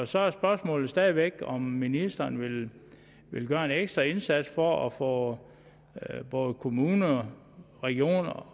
så er spørgsmålet stadig væk om ministeren vil vil gøre en ekstra indsats for at få både kommuner regioner og